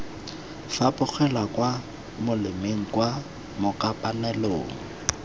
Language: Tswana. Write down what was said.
fapogela kwa molemeng kwa makopanelong